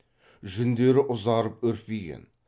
жүндері ұзарып үрпиген